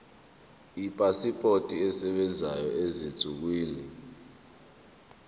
ipasipoti esebenzayo ezinsukwini